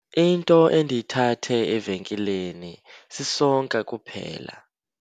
Into endiyithathe evenkileni sisonka kuphela.